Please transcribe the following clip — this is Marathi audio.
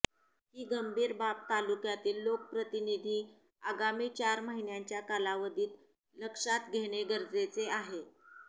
ही गंभीर बाब तालुक्यातील लोकप्रतिनिधींनी आगामी चार महिन्याच्या कालावधीत लक्षात घेणे गरजेचे आहे